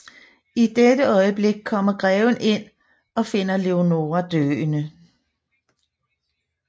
I dette øjeblik kommer greven ind og finder Leonora døende